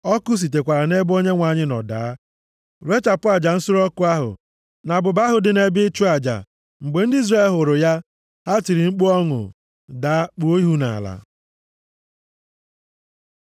Ọkụ sitekwara nʼebe Onyenwe anyị nọ daa, rechapụ aja nsure ọkụ ahụ, na abụba ahụ dị nʼebe ịchụ aja. Mgbe ndị Izrel hụrụ ya, ha tiri mkpu ọṅụ. Daa, kpuo ihu nʼala.